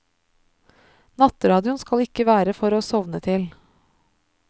Nattradioen skal ikke være for å sovne til.